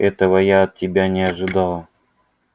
этого я от тебя не ожидала